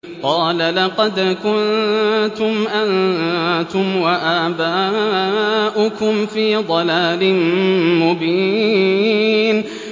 قَالَ لَقَدْ كُنتُمْ أَنتُمْ وَآبَاؤُكُمْ فِي ضَلَالٍ مُّبِينٍ